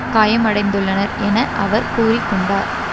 காயமடைந்துள்ளனர் என அவர் கூறி கொண்டார்